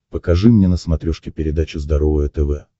покажи мне на смотрешке передачу здоровое тв